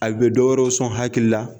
A bɛ dɔ wɛrɛw sɔn hakili la.